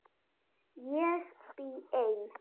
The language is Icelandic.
Ég bý ein.